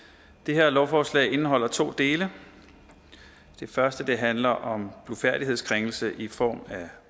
det her lovforslag indeholder to dele den første handler om blufærdighedskrænkelse i form af